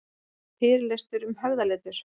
Fyrirlestur um höfðaletur